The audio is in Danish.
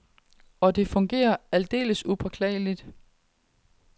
Og det fungerer aldeles upåklageligt.